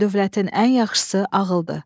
Dövlətin ən yaxşısı ağıldır.